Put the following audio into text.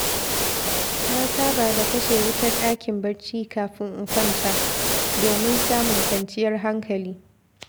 Na saba da kashe wutar ɗakin barci, kafin in kwanta, domin samun kwanciyar hankali.